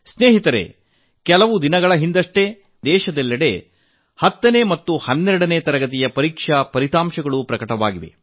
ಮಿತ್ರರೇ ಕೆಲ ದಿನಗಳ ಹಿಂದಷ್ಟೇ ದೇಶದೆಲ್ಲೆಡೆ 10ನೇ ಮತ್ತು 12ನೇ ತರಗತಿಯ ಪರೀಕ್ಷಾ ಫಲಿತಾಂಶ ಪ್ರಕಟವಾಗಿದೆ